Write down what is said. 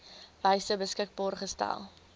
wyse beskikbaar gestel